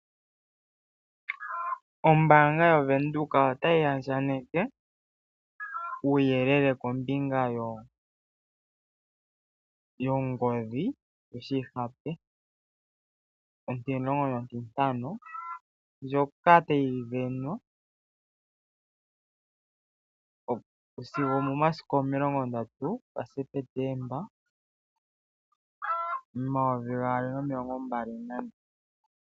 Ombaanga yaVEnduka otayi andjaganeke uuyelele kombinga yongodhi yoshihape 15 ndjoka tayi sindanwa sigo omomasiku 30 Septemba 2024.